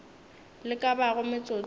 le ka bago metsotso ye